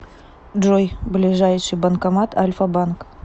джой ближайший банкомат альфа банк